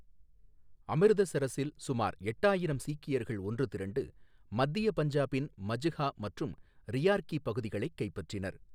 அமிர்தசரஸில் சுமார் எட்டாயிரம் சீக்கியர்கள் ஒன்று திரண்டு மத்திய பஞ்சாபின் மஜ்ஹா மற்றும் ரியார்கி பகுதிகளைக் கைப்பற்றினர்.